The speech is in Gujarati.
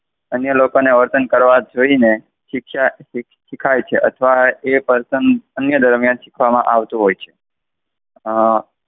અન્ય લોકો ને વર્તન કરવા જોઈને શિક્ષા શીખાય છે અથવા એ વર્તન અન્ય દરમિયાન શીખવામાં આવતું હોય છે. અમ